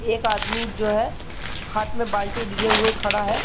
एक आदमी जो है हाथ में बाल्टी लिए हुए खड़ा है।